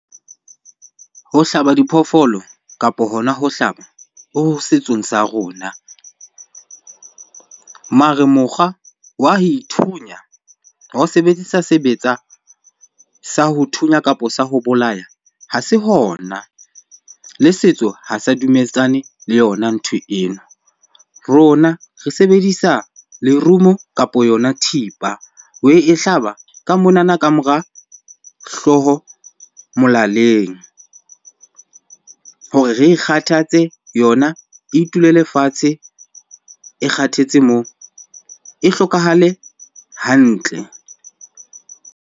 Ho hlaba diphoofolo kapa hona ho hlaba, ho ho setsong sa rona. Mare mokgwa wa ho ithunya ho sebedisa sebetsa sa ho thunya kapo sa ho bolaya, ha se hona. Le setso ha sa dumetsane le yona ntho eno. Rona re sebedisa lerumo kapo yona thipa ho e hlaba ka monana ka mora hlooho molaleng hore re ikgathatse yona, e itulele fatshe, e kgathetse moo e hlokahale hantle.